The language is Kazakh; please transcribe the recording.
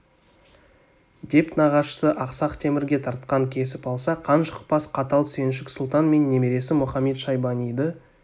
деп нағашысы ақсақ темірге тартқан кесіп алса қан шықпас қатал сүйіншік сұлтан мен немересі мұхамед-шайбаниды